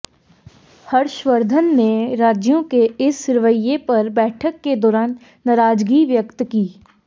हर्षवर्धन ने राज्यों के इस रवैये पर बैठक के दौरान नाराजगी व्यक्त की